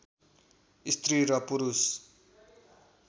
स्त्री र पुरुष